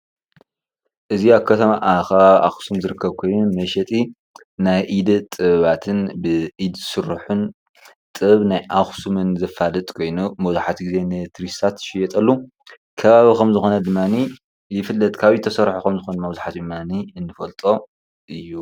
እዚ ኣብ ከተማ ኣብ ከባቢ ኣክሱም ዝርከብ ኮይኑ መሸጢ ናይ ኢደ ጥበባትን ብኢድ ዝስርሑን ጥበብ ናይ ኣክሱም ዘፋልጥ ኮይኑ መብዛሕትኡ ግዜ ንቱሪስትታት ዝሽየጠሎም ከባቢ ከም ዝኮነ ድማ ይፍለጥ፡፡ ካብ ኢድ ዝተሰርሑ ከም ዝኮነ ድማ ንፈልጦ እዩ፡፡